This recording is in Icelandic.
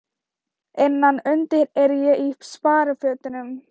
Innan undir er ég í sparifötunum.